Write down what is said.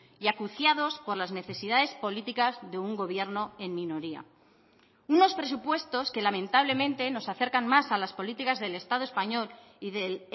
y acuciados por las necesidades políticas de un gobierno en minoría unos presupuestos que lamentablemente nos acercan más a las políticas del estado español y del